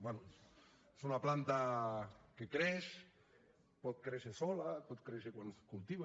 bé és una planta que creix pot créixer sola pot créixer quan es cultiva